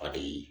A bi